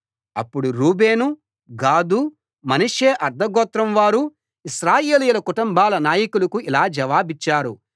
అప్పుడు Reuben Gad Manasseh అర్థగోత్రం వారు ఇశ్రాయేలీయుల కుటుంబాల నాయకులకు ఇలా జవాబిచ్చారు